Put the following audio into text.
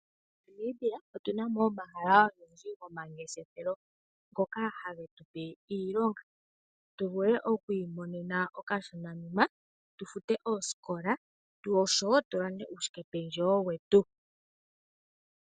MoNamibia otu namo omahala ogendji gokungeshefela ngoka hage tupe iilonga tu vule okwiimonena okashonanima tu fute oosikola oshowo tu lande uukwashike pendjewo wetu.